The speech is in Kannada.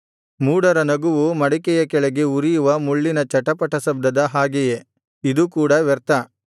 ಮೂಢರ ನಗುವು ಮಡಿಕೆಯ ಕೆಳಗೆ ಉರಿಯುವ ಮುಳ್ಳಿನ ಚಟಪಟ ಶಬ್ದದ ಹಾಗೆಯೇ ಇದೂ ಕೂಡ ವ್ಯರ್ಥ